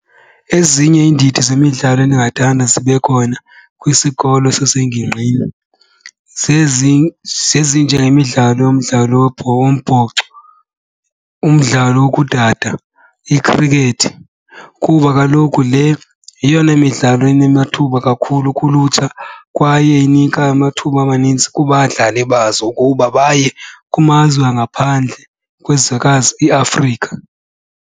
Ezinye iindidi zemidlalo endingathanda zibe khona kwisikolo sasengingqini zezi zezinjengemidlalo umdlalo webhola wombhoxo, umdlalo wokudada, ikhriketh. Kuba kaloku le yeyona midlalo inamathuba kakhulu kulutsha kwaye inika amathuba amanintsi kubadlali bazo ukuba baye kumazwe angaphandle kwizwekazi iAfrika.